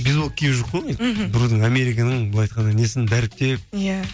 бейсболка киіп жүрік қой мхм біреудің американың былай айтқанда несін дәріптеп иә